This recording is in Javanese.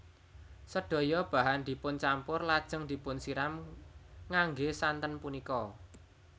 Sedaya bahan dipuncampur lajeng dipunsiram ngangge santen punika